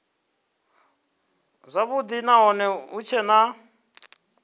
zwavhudi nahone hu tshee na